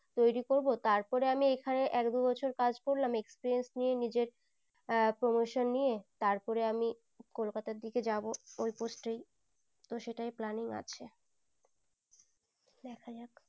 তৌরি করবো তার পরে আমি এখানে এক দু বছর কাজ করলাম experience নিয়ে নিজের আহ promotion নিয়ে তার পরে আমি কলকাতার দিকে যাবো ওই post ই তো সেটাই planning আছে।